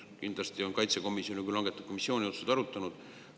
Kindlasti on riigikaitsekomisjon seda arutanud, kuna ta langetab missiooniotsuseid.